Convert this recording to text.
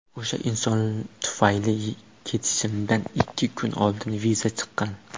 O‘sha inson tufayli ketishimdan ikki kun oldin viza chiqqan.